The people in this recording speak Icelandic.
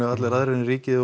allir aðrir en ríkið